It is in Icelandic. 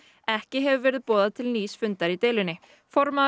ekki hefur verið boðað til nýs fundar í deilunni formaður